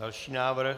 Další návrh.